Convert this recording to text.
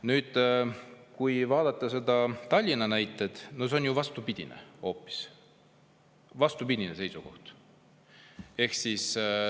Nüüd, kui vaadata seda Tallinna näidet, siis see on ju vastupidine seisukoht.